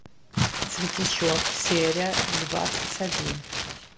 светлячок серия двадцать один